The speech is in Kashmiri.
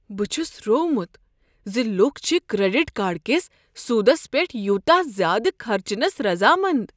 بہٕ چھُس روومت زِ لوٗكھ چھِ كریڈِٹ كارڈ كِس سوُدس پیٹھ یوٗتاہ زیادٕ خرچنس رضامند۔